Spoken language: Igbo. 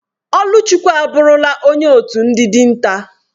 Oluchukwu aburula onye otu ndi dinta.